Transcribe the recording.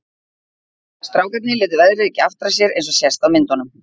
Strákarnir létu veðrið ekki aftra sér eins og sést á myndunum.